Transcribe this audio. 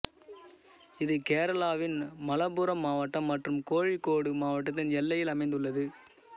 இது கேரளாவின் மலப்புரம் மாவட்டம் மற்றும் கோழிக்கோடு மாவட்டத்தின் எல்லையில் அமைந்துள்ளது